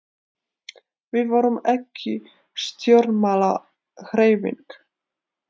við vorum ekki stjórnmálahreyfing